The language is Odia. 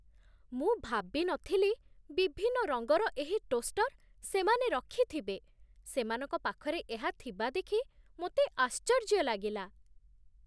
ମୁଁ ଭାବି ନଥିଲି ବିଭିନ୍ନ ରଙ୍ଗର ଏହି ଟୋଷ୍ଟର୍ ସେମାନେ ରଖିଥିବେ, ସେମାନଙ୍କ ପାଖରେ ଏହା ଥିବା ଦେଖି ମୋତେ ଆଶ୍ଚର୍ଯ୍ୟ ଲାଗିଲା।